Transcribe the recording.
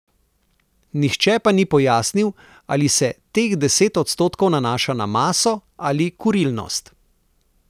Nihče pa ni pojasnil, ali se teh deset odstotkov nanaša na maso ali kurilnost.